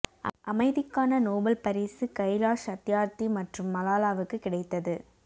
அமைதிக்கான நோபல் பரிசு கைலாஷ் சத்யார்த்தி மற்றும் மலாலாவுக்கு கிடைத்தது